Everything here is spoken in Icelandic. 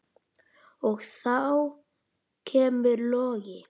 Og þá kemur Logi.